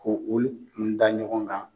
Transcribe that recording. Ko olu kun da ɲɔgɔn kan.